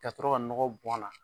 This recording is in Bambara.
Ka sɔrɔ ka nɔgɔ bɔn a na.